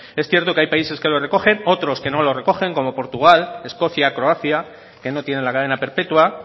es cierto que hay países que lo recogen otros que no lo recogen como portugal escocia croacia que no tienen la cadena perpetua